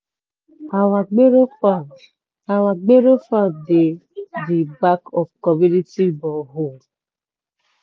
our farm our farm dey di back of community borehole.